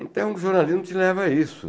Então o jornalismo te leva a isso.